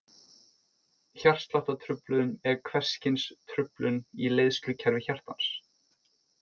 Hjartsláttartruflun er hvers kyns truflun í leiðslukerfi hjartans.